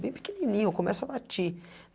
Bem pequenininho, começa a latir.